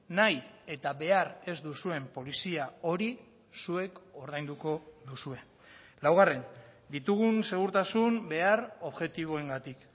nahi eta behar ez duzuen polizia hori zuek ordainduko duzue laugarren ditugun segurtasun behar objektiboengatik